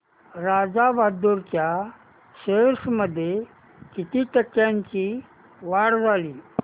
राजा बहादूर च्या शेअर्स मध्ये किती टक्क्यांची वाढ झाली